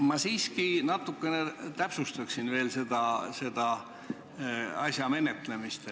Ma siiski natukene täpsustaksin selle asja menetlemist.